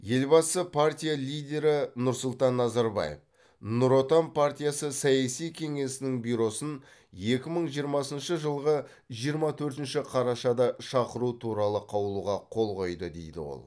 елбасы партия лидері нұрсұлтан назарбаев нұр отан партиясы саяси кеңесінің бюросын екі мың жиырмасыншы жылғы жиырма төртінші қарашада шақыру туралы қаулыға қол қойды дейді ол